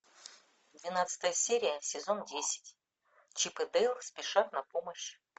двенадцатая серия сезон десять чип и дейл спешат на помощь